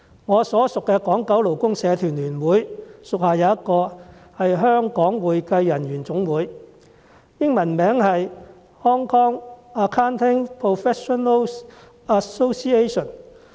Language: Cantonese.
我所屬的港九勞工社團聯會屬下有一個香港會計人員總會，英文名稱為 Hong Kong Accounting Professional Association。